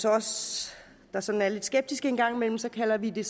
os der sådan er lidt skeptiske en gang imellem kalder vi det